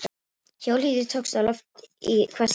Hjólhýsi tókst á loft í hvassviðri